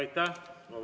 Aitäh!